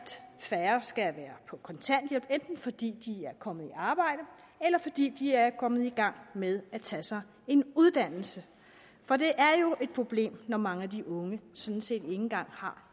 færre skal være på kontanthjælp enten fordi de er kommet i arbejde eller fordi de er kommet i gang med at tage sig en uddannelse for det er jo et problem når mange af de unge sådan set ikke engang har